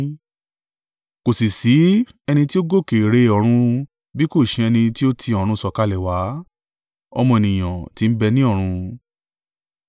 Kò sì ṣí ẹni tí ó gòkè re ọ̀run bí kò ṣe ẹni tí ó ti ọ̀run sọ̀kalẹ̀ wá, Ọmọ Ènìyàn tí ń bẹ ní ọ̀run.